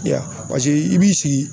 I y'a ye a paseke i b'i sigi